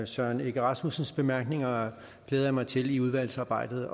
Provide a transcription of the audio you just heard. søren egge rasmussens bemærkninger glæder jeg mig til i udvalgsarbejdet